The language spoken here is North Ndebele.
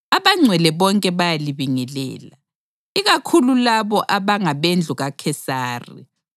Abangcwele bonke bayalibingelela, ikakhulu labo abangabendlu kaKhesari.